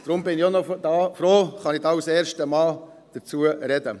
Deshalb bin ich froh, kann ich hier als erster Mann dazu sprechen.